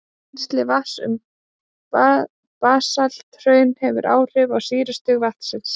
Rennsli vatns um basalthraun hefur áhrif á sýrustig vatnsins.